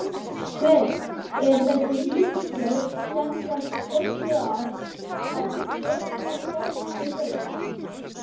Sveinn: Er þessi ríkisstjórn semsagt pöntuð af, af stjórnarformanni Baugs?